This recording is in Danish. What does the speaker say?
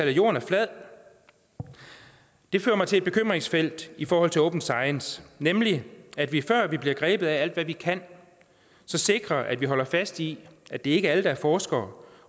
at jorden er flad det fører mig til et bekymringsfelt i forhold til open science nemlig at vi før vi bliver grebet af alt hvad vi kan så sikrer at vi holder fast i at det ikke er alle der er forskere